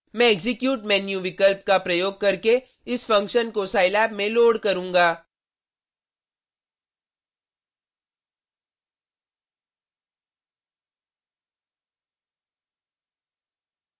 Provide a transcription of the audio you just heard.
मैं execute menu विकल्प का प्रयोग करके इस फंक्शन को scilab में लोड करूँगा